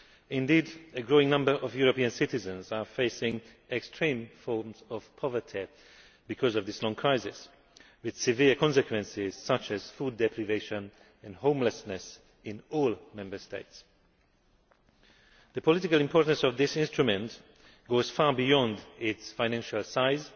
Indeed, a growing number of European citizens are facing extreme forms of poverty because of this long crisis, with severe consequences such as food deprivation and homelessness, in all Member States. The political importance of this instrument goes far beyond its financial size